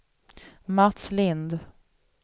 Mats Lind